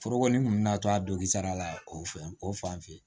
Forokonin kun bɛ na to a dongisara la o fɛ o fan fɛ yen